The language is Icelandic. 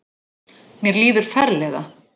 Mér líður ferlega.